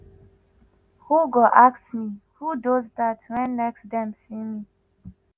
who go ask me “who does dat wen next dem see me."